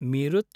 Meerut